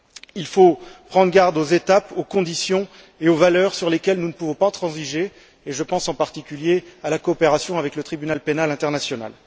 Il faut prendre garde aux étapes, aux conditions et aux valeurs sur lesquelles nous ne pouvons pas transiger, et je pense en particulier à la coopération avec le Tribunal pénal international.